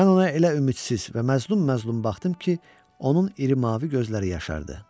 Mən ona elə ümidsiz və məzlum-məzlum baxdım ki, onun iri mavi gözləri yaşardı.